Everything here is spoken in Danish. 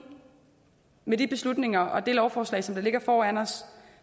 med de beslutninger og det lovforslag som ligger foran os